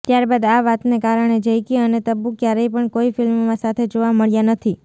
ત્યારબાદ આ વાતને કારણે જૈકી અને તબ્બુ ક્યારે પણ કોઈ ફિલ્મમાં સાથે જોવા મળ્યા નથી